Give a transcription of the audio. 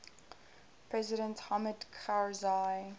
president hamid karzai